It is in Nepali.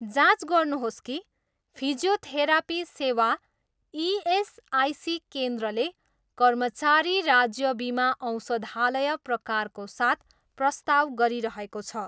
जाँच गर्नुहोस् कि फिजियोथेरापी सेवा इएसआइसी केन्द्रले कर्मचारी राज्य बिमा औषधालय प्रकारको साथ प्रस्ताव गरिरहेको छ।